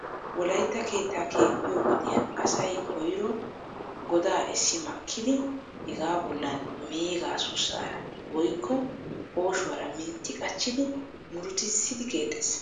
Wolaytta keetta keexxiyo wodiyaan asay koyro godaa essi makkidi hega bollan meegaa sussaara woykko pooshshuwaara mintti qachchidi muruttissidi keexxees .